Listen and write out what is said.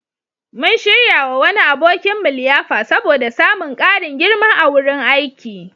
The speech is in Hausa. Mun shiryawa wani abokinmu liyafa saboda samun ƙarin girma a wurin aiki.